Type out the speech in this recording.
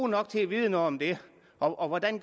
nok til at vide noget om det og hvordan